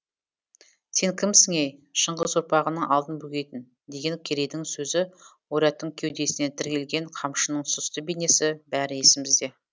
сен кімсің ей шыңғыс ұрпағының алдын бөгейтін деген керейдің сөзі ойраттың кеудесіне тірелген қамшының сұсты бейнесі бәрі есімізде